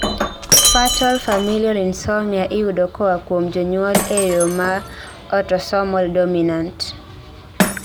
Fatal familial insomnia (FFI) iyudo koa kuom jonyuol e yoo ma autosomal dominant